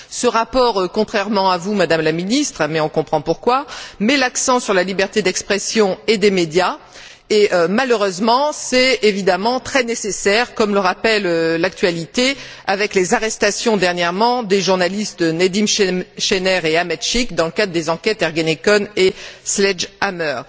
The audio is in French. Ce rapport contrairement à vous, Madame la Ministre, mais on comprend pourquoi met l'accent sur la liberté d'expression et des médias. Malheureusement, c'est évidemment très nécessaire comme le rappelle l'actualité, avec les arrestations dernièrement des journalistes Nedim Sener et Ahmet Sik dans le cadre des enquêtes Ergenekon et Sledgehammer.